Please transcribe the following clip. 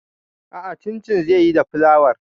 A'a, cincin zan yi da flawar.